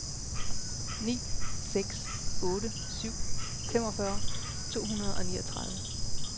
ni seks otte syv femogfyrre to hundrede og niogtredive